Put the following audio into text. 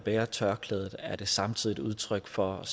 bærer tørklædet samtidig er et udtryk for at